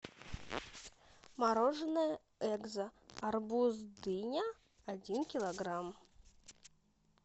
мороженое экзо арбуз дыня один килограмм